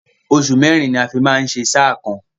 Oṣù mẹ́rin ni a fi máa ń ṣe sáà kan.